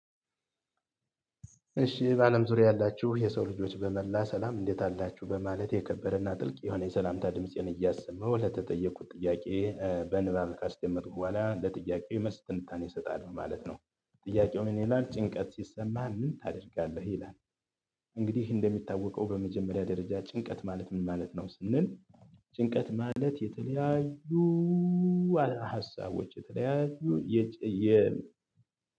እሺ በአለም ዙሪያ ያላችሁ የሰው ልጆች በመላ ሰላም እንዴት አላችሁ በማለት የከበረና ጥልቅ የሆነ የሰላምታ ድምፄን እያሰማው ለተጠየኩት ጥያቄ በንባብ ካስከመጥኩ በኋላ ለጥያቄ መልስ ትንታኔ ሰጣለሁ ማለት ነው። ጥያቄው ምን ይላል? ጭንቀት ሲሰማህ ምን ታደርጋለህ? ይላል እንግዲህ እንደሚታወቀው በመጀመሪያ ደረጃ ጭንቀት ማለት ምን ማለት ነው ስንል። ጭንቀት ማለት የተለያዩ ሀሳቦች የተለያዩ የ